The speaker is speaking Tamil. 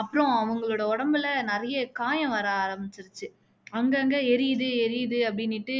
அப்பறம் அவங்களோட உடம்புல நிறைய காயம் வர ஆரமிச்சுருச்சு அங்க அங்க எரியுது எரியுது அப்படின்னுட்டு